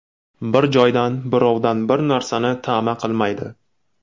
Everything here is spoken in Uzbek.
Bir joydan, birovdan bir narsani ta’ma qilmaydi.